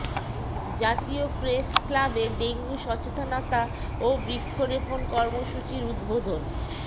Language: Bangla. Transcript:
জাতীয় প্রেস ক্লাবে ডেঙ্গু সচেতনতা ও বৃক্ষরোপণ কর্মসূচির উদ্বোধন